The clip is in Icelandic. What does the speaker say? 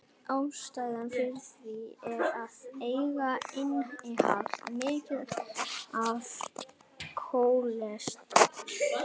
Ástæðan fyrir því er að egg innihalda mikið af kólesteróli.